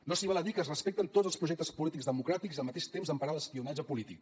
no s’hi val a dir que es respecten tots els projectes polítics democràtics i al mateix temps emparar l’espionatge polític